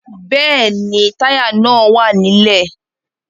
Bẹ́ẹ̀ni, Táyà náà wà nílẹ̀